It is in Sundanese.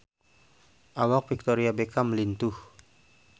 Awak Victoria Beckham lintuh